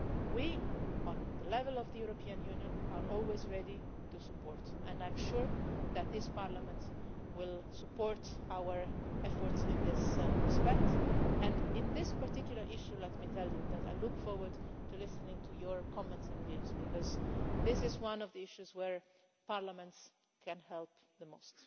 We, at the level of the European Union, are always ready to support, and I am sure that this Parliament will support our efforts in this respect. And on this particular issue let me tell you that I look forward to listening to your comments and views because this is one of the issues where parliaments can help the most.